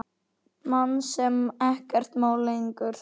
Mann sem ekkert má lengur.